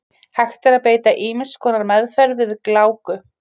Hægt er að beita ýmiss konar meðferð við gláku.